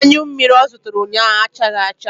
Anyụ mmiri ọ zụtara ụnyaahụ achaghị acha.